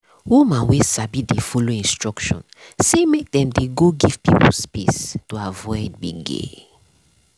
woman wey sabi dey follow instruction say make dem dey go give pipo space to avoid gbege.